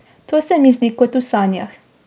To se mi zdi kot v sanjah.